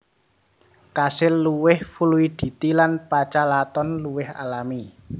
Kasil luwih fluiditi lan pachalaton luwih alami